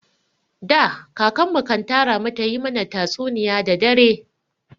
Da, kakan mu kan tara mu ta yi mana tatsuniya da dare.